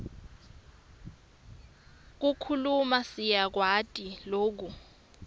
kukhuluma siyakwati loku